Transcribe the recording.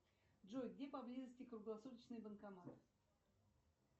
джой где поблизости круглосуточный банкомат